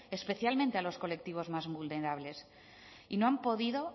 especialmente a los colectivos más vulnerables y no han podido